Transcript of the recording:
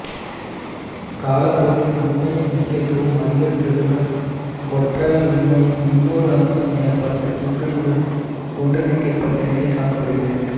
காலப்போக்கில் உமையின் முக்கியத்துவம் அதிகரித்ததுடன் கொற்றவை உமையின் இன்னொரு அம்சம் எனப்பட்ட துர்க்கையுடன் ஒன்றிணைக்கப்பட்ட நிலை காணப்படுகிறது